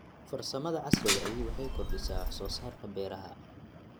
Farsamada casriga ahi waxay kordhisaa wax soo saarka beeraha.